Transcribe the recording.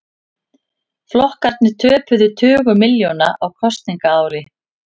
Flokkarnir töpuðu tugum milljóna á kosningaári